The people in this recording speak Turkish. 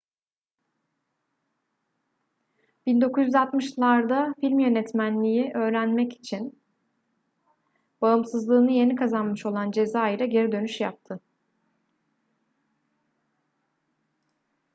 1960'larda film yönetmenliği öğretmek için bağımsızlığını yeni kazanmış olan cezayir'e geri dönüş yaptı